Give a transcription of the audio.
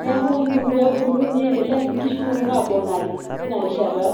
neeku ibung' pee ebulu, niendelea sii nkishu nonok aaponari teina rishata.